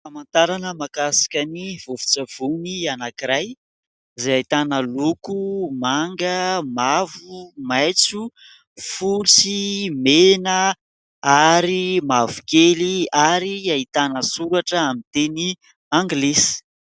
famantarana mahakasika ny vovon-tsavony anankiray, izay ahitana loko manga, mavo, maitso fotsy sy mena ary mavokely ary hahitana soratra amin'ny teny anglisy